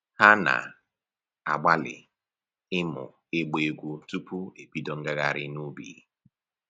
Ha na-agbalị ịmụ ịgba egwu tupu ebido ngaghrị n'ubi